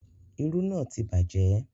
Irú náà ti bàjẹ́